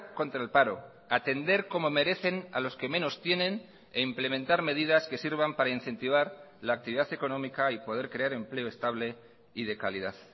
contra el paro atender como merecen a los que menos tienen e implementar medidas que sirvan para incentivar la actividad económica y poder crear empleo estable y de calidad